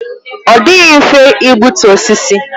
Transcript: Ọ dịghị mfe igbutu osisi.